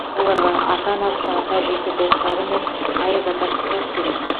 оларға ата анасы ата әжесі достары мен аяз ата сыйлық береді